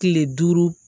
Kile duuru